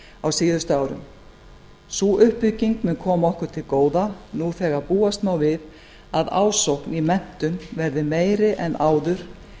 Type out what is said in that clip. á síðustu árum sú uppbygging mun koma okkur til góða nú þegar búast má við að ásókn í menntun verði meiri en áður